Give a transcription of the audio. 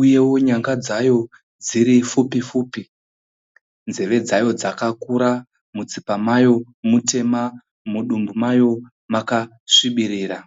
uyewo nyanga dzayo dziri pfupi pfupi, nzeve dzayo dzakakura, mutsipa mayo mutema, mudumbu mayo makasvibirira.